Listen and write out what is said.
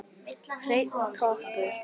Hreinn toppur.